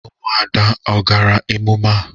Umuada o gara emume a?